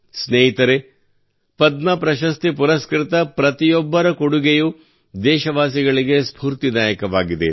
ಸ್ನೇಹಿತರೇ ಪದ್ಮ ಪ್ರಶಸ್ತಿ ಪುರಸ್ಕೃತ ಪ್ರತಿಯೊಬ್ಬರ ಕೊಡುಗೆಯು ದೇಶವಾಸಿಗಳಿಗೆ ಸ್ಪೂರ್ತಿದಾಯಕವಾಗಿದೆ